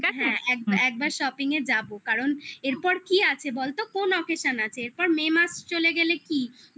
একবার shopping এ যাবো কারণ এরপর কি আছে বলতো কোন occasion আছে এরপর may মাস চলে গেলে কি